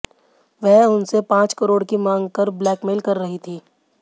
वह उनसे पांच करोड़ की मांग कर ब्लैकमेल कर रही थी